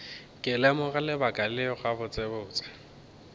ke lemoga lebaka leo gabotsebotse